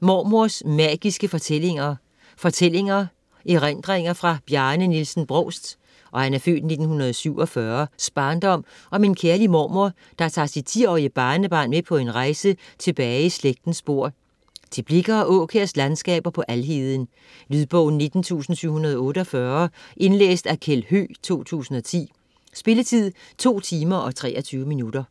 Mormors magiske fortællinger: fortællinger Erindringer fra Bjarne Nielsen Brovsts (f. 1947) barndom om en kærlig mormor, der tager sit 10-årige barnebarn med på en rejse tilbage i slægtens spor - til Blicher og Aakjærs landskaber på Alheden. Lydbog 19748 Indlæst af Kjeld Høegh, 2010. Spilletid: 2 timer, 23 minutter.